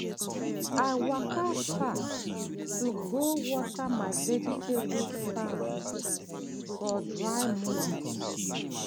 i waka far to go water my vegetable farm for dry months.